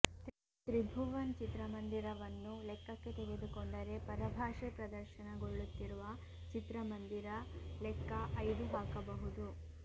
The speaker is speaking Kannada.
ತ್ರಿಭುವನ್ ಚಿತ್ರಮಂದಿರವನ್ನೂ ಲೆಕ್ಕಕ್ಕೆ ತೆಗೆದುಕೊಂಡರೆ ಪರಭಾಷೆ ಪ್ರದರ್ಶನ ಗೊಳ್ಳುತ್ತಿರುವ ಚಿತ್ರಮಂದಿರ ಲೆಕ್ಕ ಐದು ಹಾಕಬಹುದು